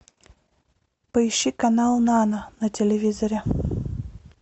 поищи канал нано на телевизоре